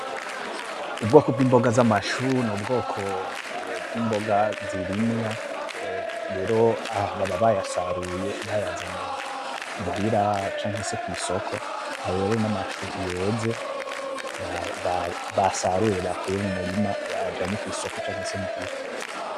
Ubwoko bwimboga zamachoux, nubwoko bwimboga zirimwa, rero aha baba bayasaruye bayazanye muhira canke se kwisoko, ayo rero namachoux yeze basaruye bakuye mumurima bajanye kwisoko canke se muhira.